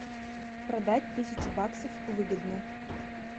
продать тысячу баксов выгодно